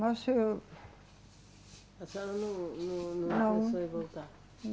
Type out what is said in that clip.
Mas eu. A senhora não, não, não pensou em voltar?